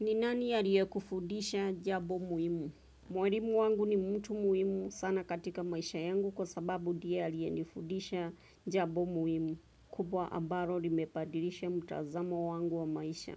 Ni nani aliyekufudisha jambo muhimu? Mwalimu wangu ni mtu muhimu sana katika maisha yangu kwa sababu ndiye aliyenifudisha jambo muhimu. Kubwa ambalo limebadilisha mtazamo wangu wa maisha.